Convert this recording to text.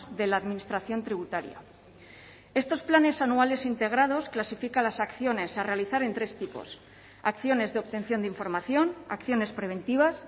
de la administración tributaria estos planes anuales integrados clasifica las acciones a realizar en tres tipos acciones de obtención de información acciones preventivas